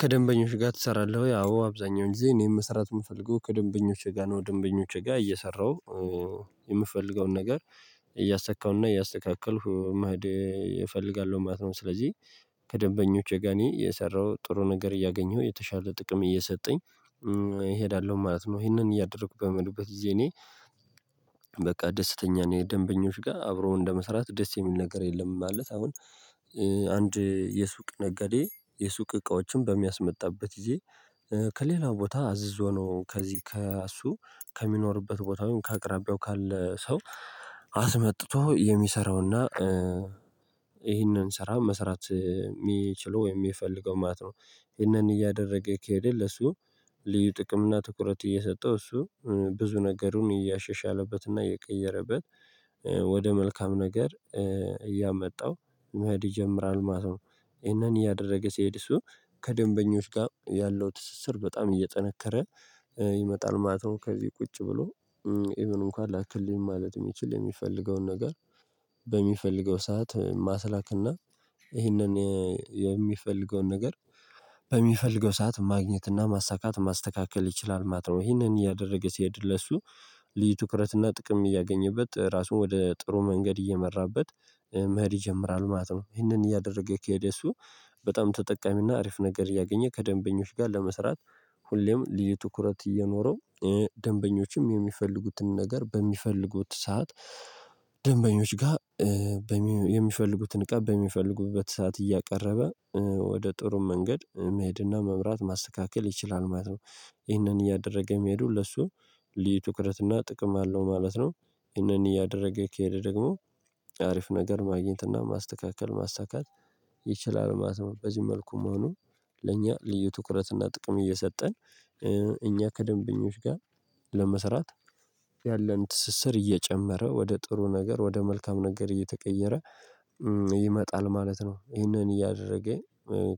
ከደንበኞች ጋር ትሰራለህ ወይ? አዎ አብዛኛውን ጊዜ እኔን መሰራት የምፈልገው ከደንበኞች ጋር ነው ደንበኞች ጋር እየሰራሁ የምፈልገውን ነገር እያሰካሁና እያስተካከልኩ መሄድ እፈልጋለሁ ማለት ነው። ስለዚህ ከደበኞቼ ጋኔ የሰራሁት ጥሩ ነገር እያገኘሁ የተሻለ ጥቅም እየሰጠኝ እሄዳለሁ ማለት ነው። ይሄንን እያደረኩ በመሄድበት ጊዜ እኔ በቃ ደስተኛ ነኝ ደንበኞች ጋር አብሮው እንደመሰራት ደስ የሚል ነገር የለም። ማለት አሁን። አንድ የሱቅ ነጋዴ የሱቅ እቃዎችን በሚያስመጣበት ጊዜ ከሌላ ቦታ አዝዞ ነው ከዚህ ከእሱ ከሚኖርበት ቦታውን ከአቅራቢያው ካለ ሰው አስመጥቶ የሚሰራውና። ይህንን ስራ መስራት የሚችለው ወይም የሚፈልገው ማለት ነው። ይህንን እያደረገ ከሄደ ለሱ ልዩ ጥቅም እና ትኩረት እየሰጠው እሱ ብዙ ነገሩን እያሸሻለበት እና እየቀየረበት ወደ መልካም ነገር እያመጣው መሄድ ይጀምራል ማለት ነው። ይሄንን እያደረገ ሲሄድ እሱ ከደንበኞች ጋር ያለው ትስስር በጣም እየጠነከረ ይመጣል ማለት ነው። ከዚህ ቁጭ ብሎ እንኳን ላክልኝ ማለት የሚችል የሚፈልገውን ነገር በሚፈልገው ሰዓት ማስላክና ይህንን የሚፈልገውን ነገር በሚፈልገው ሰዓት ማግኘትና ማሳካት ማስተካከል ይችላል። ማትነው ይህንን እያደረገ ሲሄድ ለሱ ልዩ ትኩረትና ጥቅም እያገኘበት ራሱን ወደ ጥሩ መንገድ እየመራበት መሄድ ይጀምራል ማለት ነው። ይሄንን እያደረገ ከሄደ እሱ በጣም ተጠቃሚና አሪፍ ነገር እያገኘ ከደንበኞች ጋር ለመስራት ሁሌም ልዩ ትኩረት እየኖረው ደንበኞችም የሚፈልጉትን ነገር በሚፈልጉት ሰዓት። ደንበኞች ጋር በሚ የሚፈልጉትን እቃ በሚፈልጉበት ሰዓት እያቀረበ ወደ ጥሩ መንገድ መሄድና መምራት ማስተካከል ይችላል ማለት ነው። ይህንን እያደረገ የሚሄዱ ለሱ ልዩ ትኩረት እና ጥቅም አለው ማለት ነው። ይህንን እያደረገ ከሄደ ደግሞ አሪፍ ነገር ማግኘት እና ማስተካከል ማሳካት ይችላል ማለት ነው። በዚህ መልኩ መሆኑ ለእኛ ልዩ ትኩረት እና ጥቅም እየሰጠን እኛ ከደንበኞች ጋር ለመሰራት ያለን ትስስር እየጨመረ ወደ ጥሩ ነገር ወደ መልካም ነገር እየተቀየረ ይመጣል ማለት ነው። ይሄንን እያደረገ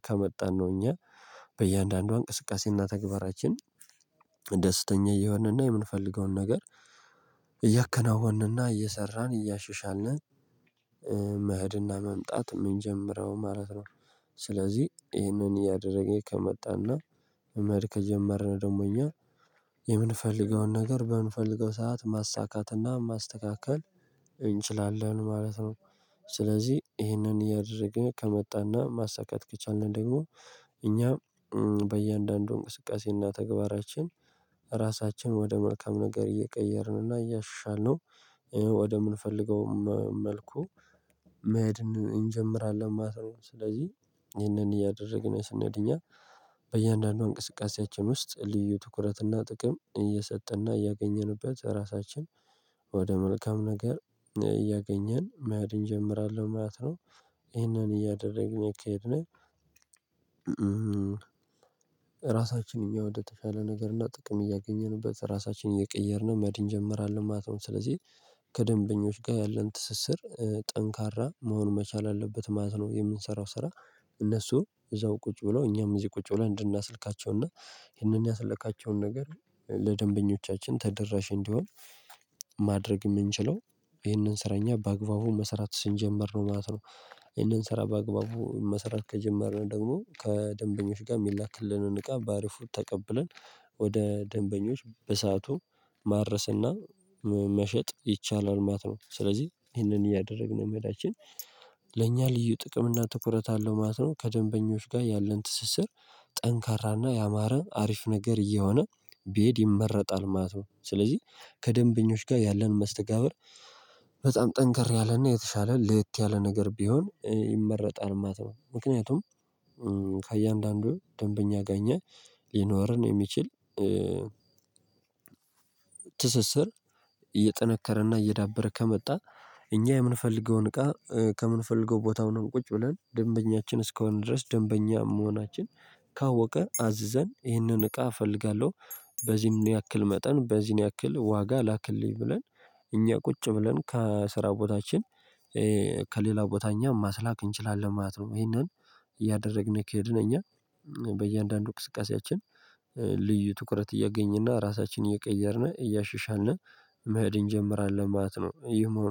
ከመጣን ነው እኛ በእያንዳንዷ እንቅስቃሴና ተግባራችን ደስተኛ እየሆንንና የምንፈልገውን ነገር እያከናወንንና እየሰራን እያሻሻልን መህድና መምጣት የምንጀምረው ማለት ነው። ስለዚህ ይሄንን እያደረገ ከመጣና መማር ከጀመርን ደግሞ እኛ የምንፈልገውን ነገር በምንፈልገው ሰዓት ማሳካትና ማስተካከል እንችላለን ማለት ነው። ስለዚህ ይህንን እያደረገ ከመጣና ማሳካት ከቻልን ደግሞ እኛም በእያንዳንዱ እንቅስቃሴና ተግባራችን ራሳችን ወደ መልካም ነገር እየቀየርን እና እያሻልነው ወደምንፈልገው መልኩ መሄድን እንጀምራለን ማለት ነው። ስለዚህ ይህንን እያደረግን ነው ስንሄድ እኛ በእያንዳንዱ እንቅስቃሴያችን ውስጥ ልዩ ትኩረትና ጥቅም እየሰጠና እያገኘንበት ራሳችን ወደ መልካም ነገር እያገኘን መሄድ እንጀምራለን ማለት ነው። ይሄንን እያደረግን ከሄድነ ራሳችን የሚወድድ የተሻለ ነገር እና ጥቅም እያገኘንበት ራሳችንን እየቀየርን መሄድን እንጀምራለን ማለት ነው። ስለዚህ ከደንበኞች ጋር ያለን ትስስር ጠንካራ መሆኑን መቻል አለበት ማለት ነው። የምንሰራው ስራ እነሱ እዛው ቁጭ ብሎ እኛም እዚህ ቁጭ ብለው እንድናስልካቸውና ይሄንን ያስለካቸውን ነገር ለደንበኞቻችን ተደራሽ እንዲሆን ማድረግ የምንችለው ይህንን ስራ እኛ በአግባቡ መስራት ስንጀምር ነው ማለት ነው። ይህንን ስራ በአግባቡ መሰራት ከጀመርን ደግሞ ከደንበኞች ጋር የሚላክልንን እቃ በአሪፉ ተቀብለን ወደ ደንበኞች በሰአቱ ማድረስና መሸጥ ይቻላል ማለት ነው። ስለዚህ ይሄንን እያደረግን የመሄዳችን ለእኛ ልዩ ጥቅም እና ትኩረት አለው ማለት ነው። ከደንበኞች ጋር ያለን ትስስር ጠንካራና ያማረ አሪፍ ነገር እየሆነ ቢሄድ ይመረጣል ማለት ነው። ስለዚህ ከደንበኞች ጋር ያለን መስተጋብር በጣም ጠንከር ያለና የተሻለ ለየት ያለ ነገር ቢሆን ይመረጣል ማለት ነው። ምክንያቱም ከእያንዳንዱ ደንበኛ አገኘህ ሊኖርህ የሚችል ትስስር እየጠነከረና እየዳበረ ከመጣ። እኛ የምንፈልገውን እቃ ከምንፈልገው ቦታውንም ቁጭ ብለን ደንበኛችን እስኮን ድረስ ደንበኛ መሆናችን ካወቀ አዝዘን ይህንን እቃ እፈልጋለሁ በዚህም ያክል መጠን በዚህን ያክል ዋጋ ላክልኝ ብለን እኛ ቁጭ ብለን ከስራ ቦታችን ከሌላው ቦታ እኛም ማስላክ እንችላለን ማለት ነው። ይሄንን እያደረግን ከሄድን እኛ በእያንዳንዱ እቅስቃሴያችን ልዩ ትኩረት እያገኘና ራሳችንን እየቀየርን እያሽሻልን መሄድ እንጀምራለን ማለት ነው። ይህም ሁኖ